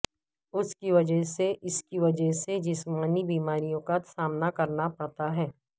اس کی وجہ سے اس کی وجہ سے جسمانی بیماریوں کا سامنا کرنا پڑتا ہے